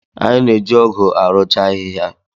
Anyị na-eji ọ́gụ̀ arụcha ahịhịa.